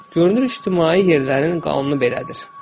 Görünür ictimai yerlərin qanunu belədir.